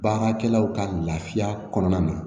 Baarakɛlaw ka lafiya kɔnɔna na